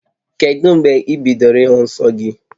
Kedu mgbe ị bidoro ịhụ nsọ gị?